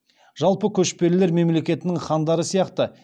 жалпы көшпелілер мемлекетінің хандары сияқты